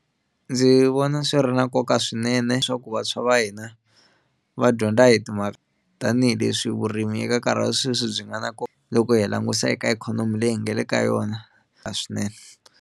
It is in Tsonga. Ndzi vona swi ri na nkoka swinene leswaku vantshwa va hina va dyondza hi ti tanihileswi vurimi eka nkarhi wa sweswi byi nga na loko hi langutisa eka ikhonomi leyi hi nga le ka yona na swinene.